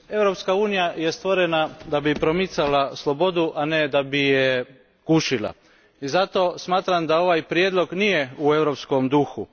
Gospodine predsjedniče, Europska unija je stvorena da bi promicala slobodu, a ne da bi je gušila. Zato smatram da ovaj prijedlog nije u europskom duhu.